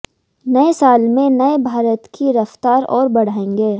नए साल में नए भारत की रफ्तार और बढ़ाएंगे